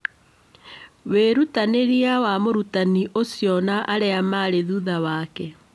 Wĩrutanĩria wa mũrutani ũcio na arĩa marĩ thutha wake